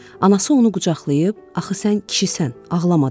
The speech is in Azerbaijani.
Anası onu qucaqlayıb, axı sən kişisən, ağlama dedi.